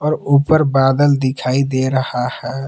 और ऊपर बादल दिखाई दे रहा है।